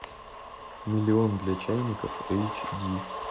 миллион для чайников эйч ди